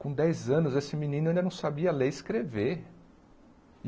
Com dez anos esse menino ainda não sabia ler e escrever.